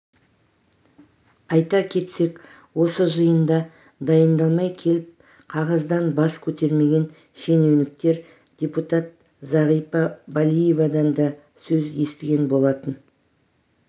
айта кетсек осы жиында дайындалмай келіп қағаздан бас көтермеген шенеуніктер депутат зағипа балиевадан дасөз естіген болатын